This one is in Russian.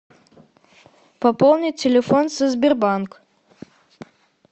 пополнить телефон со сбербанк